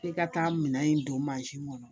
F'i ka taa minɛn in don mansin kɔnɔ